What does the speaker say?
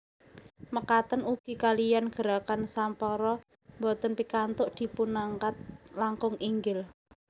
Mekaten ugi kaliyan gerakan sampara boten pikantuk dipunangkat langkung inggil